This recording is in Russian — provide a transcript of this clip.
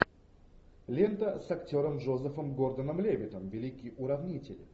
лента с актером джозефом гордоном левиттом великий уравнитель